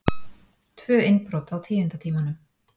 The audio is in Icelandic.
Tvö innbrot á tíunda tímanum